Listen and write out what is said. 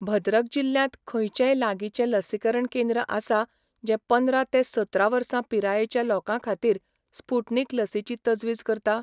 भद्रक जिल्ल्यांत खंयचेंय लागींचें लसीकरण केंद्र आसा जें पंदरा ते सतरा वर्सां पिरायेच्या लोकां खातीर स्पुटनिक लसीची तजवीज करता?